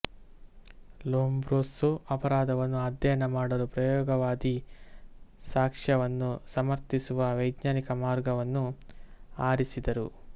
Lombroso ಅಪರಾಧವನ್ನು ಅಧ್ಯಯನ ಮಾಡಲು ಪ್ರಯೋಗವಾದಿ ಸಾಕ್ಷ್ಯವನ್ನು ಸಮರ್ಥಿಸುವ ವೈಜ್ಞಾನಿಕ ಮಾರ್ಗವನ್ನು ಆರಿಸಿದರು